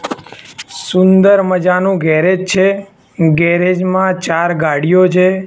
સુંદર મજાનુ ગેરેજ છે ગેરેજ મા ચાર ગાડીઓ છે.